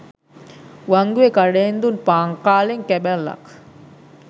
වංගුවේ කඩයෙන් දුන් පාන් කාලෙන් කැබැල්ලක්